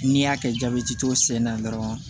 N'i y'a kɛ jabɛti t'o sen na dɔrɔn